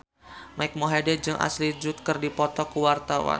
Mike Mohede jeung Ashley Judd keur dipoto ku wartawan